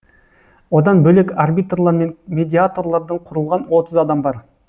одан бөлек арбитрлар мен медиаторлардан құрылған отыз адам бар